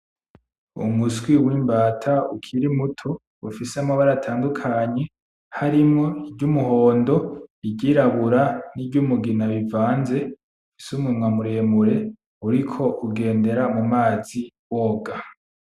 Umuswi w'imbata ukiri muto ufise amabara atandukanye harimwo iry'umohondo i ry'irabura ni ry'umugina rivanze ufise umunwa muremure uriko ugendera mu mazi woga .